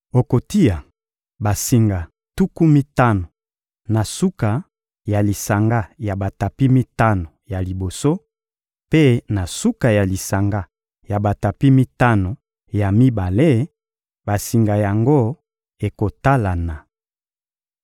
Okotia basinga tuku mitano na suka ya lisanga ya batapi mitano ya liboso, mpe na suka ya lisanga ya batapi mitano ya mibale; basinga yango ekotalana.